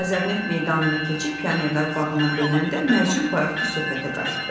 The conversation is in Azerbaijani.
Azərneft meydanını keçib pionerlər bağına dönəndə Mərcan bayaqkı söhbətə qayıtdı.